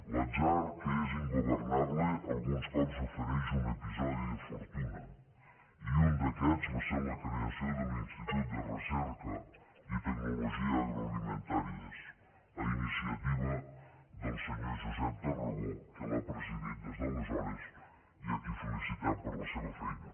l’atzar que és ingovernable alguns cops ofereix un episodi de fortuna i un d’aquests va ser la creació de l’institut de recerca i tecnologia agroalimentàries a iniciativa del senyor josep tarragó que l’ha presidit des d’aleshores i a qui felicitem per la seva feina